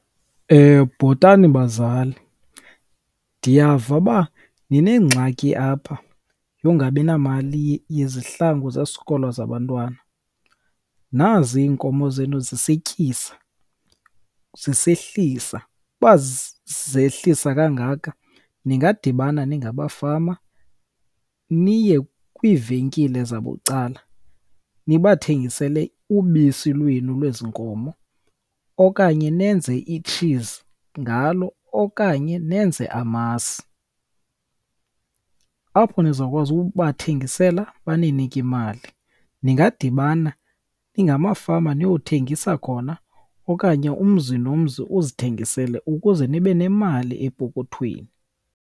Bhotani bazali, ndiyava uba ninengxaki apha yongabi namali yezihlangu zesikolo zabantwana. Nazi iinkomo zenu zisetyisa, zisehlisa. Uba zehlisa kangaka, ningadibana ningabafama niye kwivenkile zabucala nibathengisele ubisi lwenu lwezi nkomo okanye nenze itshizi ngalo okanye nenze amasi. Apho nizawukwazi ubathengisela baninike imali. Ningadibana ningamafama niyothengisa khona okanye umzi nomzi uzithengisele ukuze nibe nemali epokothweni.